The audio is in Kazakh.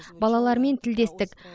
балалармен тілдестік